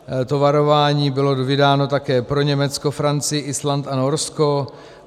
To varování bylo vydáno také pro Německo, Francii, Island a Norsko.